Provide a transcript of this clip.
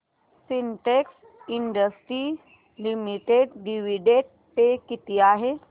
Sintex industries limited dividend pay किती आहे